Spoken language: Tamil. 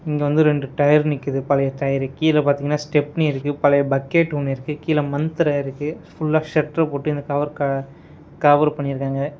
இங்க வந்து ரெண்டு டயர் நிக்குது பழைய டயர் . கீழ பாத்தீங்கன்னா ஸ்டெப்னி இருக்கு. பழைய பக்கெட் ஒன்னு இருக்கு. கீழ மண்தரை இருக்கு. ஃபுல்லா ஷட்டர் போட்டு இந்த கவர் க கவர் பண்ணிருக்காங்க.